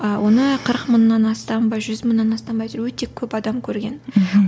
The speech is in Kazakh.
а оны қырық мыңнан астам ба жүз мыңнан астам ба әйтеуір өте көп адам көрген мхм